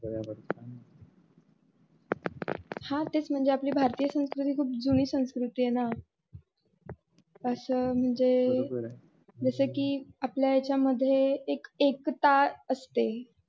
हा तेच म्हणजे आपली भारतीय संस्कृती खूप जुनी संस्कृती आहे ना अस म्हणजे जस कि आपल्या याच्या मधे एक एकता असते.